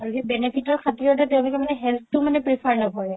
আৰু সেই benefit ৰ সাতিৰতে তেওলোকে health তো prefer নকৰে